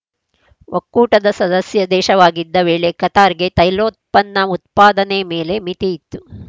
ಒಕ್ಕೂಟದ ಸದಸ್ಯ ದೇಶವಾಗಿದ್ದ ವೇಳೆ ಕತಾರ್‌ಗೆ ತೈಲೋತ್ಪನ್ನ ಉತ್ಪಾದನೆ ಮೇಲೆ ಮಿತಿ ಇತ್ತು